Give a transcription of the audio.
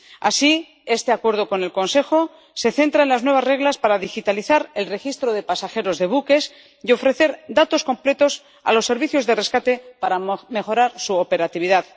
Así, este acuerdo con el Consejo se centra en las nuevas reglas para digitalizar el registro de pasajeros de buques y ofrecer datos completos a los servicios de rescate para mejorar su operatividad.